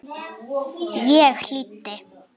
Ég hlýddi.